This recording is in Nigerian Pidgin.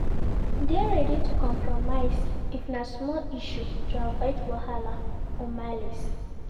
De ready to compromise if na small issue to avoid wahala or malice